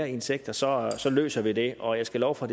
i en sektor så så løser vi det og jeg skal love for